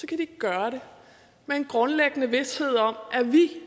kan de gøre det med en grundlæggende vished om at vi